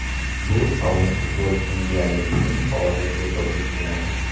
Bu sobiq futbolchining deyarli butun faoliyatiga to‘g‘ri keladi.